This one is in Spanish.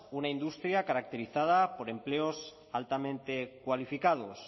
una industria caracterizada por empleos altamente cualificados